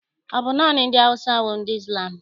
Ọ bụ naanị ndị Awụsa bụ ndị Izlam?